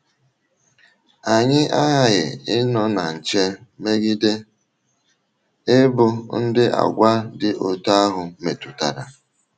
Anyị aghaghị ịnọ na nche megide ịbụ ndị àgwà dị otú ahụ metụtara.